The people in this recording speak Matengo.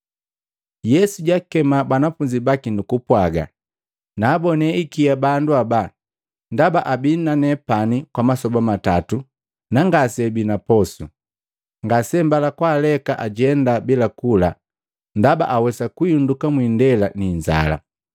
Yesu jaakema banafunzi baki nukupwaga, “Naabone ikia bandu haba, ndaba abii na nepani kwa masoba matatu, na ngaseabi na poso. Ngasembala kwaaleka ajenda bila kula ndaba awesa kuhinduka mwiindela ninzala.”